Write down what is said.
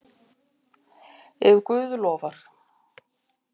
Ef Guð lofar.